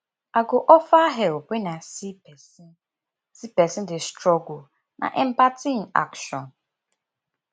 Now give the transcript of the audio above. i go offer help when i see pesin see pesin dey struggle na empathy in action